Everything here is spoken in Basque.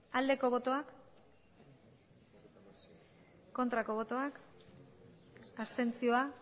aldeko botoak aurkako botoak abstentzioa